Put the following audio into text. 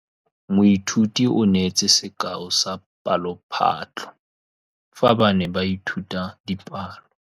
Moithuti o neetse sekaô sa palophatlo fa ba ne ba ithuta dipalo.